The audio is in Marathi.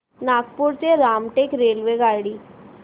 नागपूर ते रामटेक रेल्वेगाडी